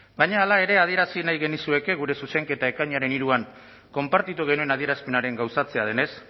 baina hala ere adierazi nahi genizueke gure zuzenketa ekainaren hiruan konpartitu genuen adierazpenaren gauzatzea denez